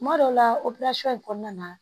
Kuma dɔw la in kɔnɔna na